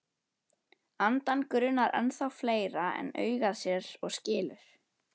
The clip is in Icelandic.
Andann grunar ennþá fleira en augað sér og skilur.